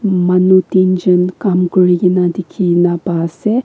manu tin jun kam kure kena dikhina pa ase.